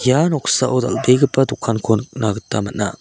ia noksao dal·begipa dokanko nikna gita man·a.